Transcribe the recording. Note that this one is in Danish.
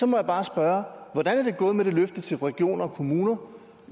må jeg bare spørge hvordan er det gået med løftet til regioner og kommuner